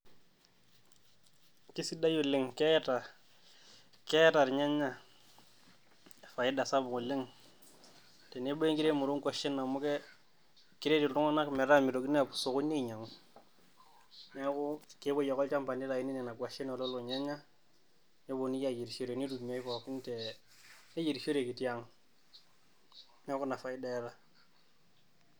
Keisidai oleng keeta, keeta ilnyanya faida sapuk oleng tenebo e nkiremore oo nkuashen. Amu eeh, keret iltung`anak metaa meitokini aapuo osokoni ainyiang`u niaku kepuoi ake olchamba neitayuni nena kuashen olelo nyanya nepuonini ayierishore pookin te, neyierishoreki tiang niaku ina faida eeta.